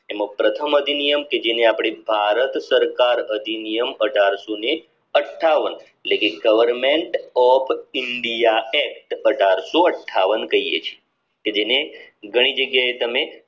એમાં પ્રથમ અભિનિયમ કે જેને અપડે ભારત સરકાર અધિનિયમ અઢારશોને અઠ્ઠાવન એટલે કે goverment of india act અઢારસો અઠ્ઠાવન કહીયે છીએ કે જે ઘણી જગ્યા એ તમે